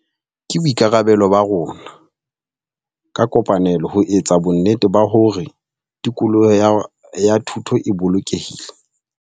Ke boikarabelo ba rona ka kopanelo ho etsa bonnete ba hore tikoloho ya thuto e bolokehile.